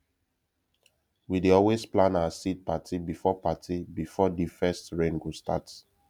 we dey always plan our seed parti before parti before de first rain go start